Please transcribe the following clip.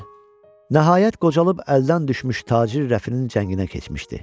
Nəhayət qocalıb əldən düşmüş tacir Rəfinin cənginə keçmişdi.